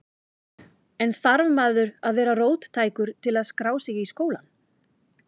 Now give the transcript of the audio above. En þarf maður að vera róttækur til að skrá sig í skólann?